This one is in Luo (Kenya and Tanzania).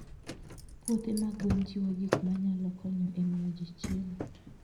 Puothe mag gwen chiwo gik manyalo konyo e miyo ji chiemo.